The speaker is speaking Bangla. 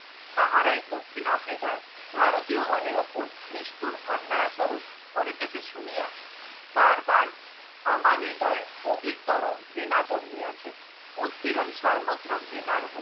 তাহারাই দক্ষিণ আফ্রিকায় ভারতীয়গণের উপর নিষ্ঠুর অন্যায় আচরণ করিতেছে শুনিয়া বার বার আমার হৃদয়ে অধিকতর ঘৃণা জন্মিয়াছে। উৎপীড়ণ সর্বত্র ঘৃণার হউক।